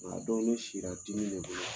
A don ne si la dimi de bolo